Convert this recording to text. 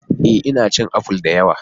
Ee! Ina cin apple da yawa.